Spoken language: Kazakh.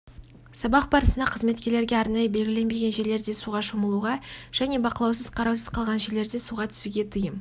сабақ барысында қызметкерлерге арнайы белгіленбеген жерлерде суға шомылуға және бақылаусыз қараусыз қалған жерлерде суға түсуге тыйым